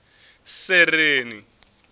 sereni